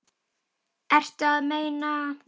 Ertu að meina?